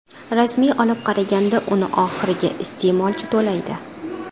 Rasmiy olib qaraganda uni oxirgi iste’molchi to‘laydi.